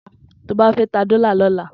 Toba fè tà dòlá lòlá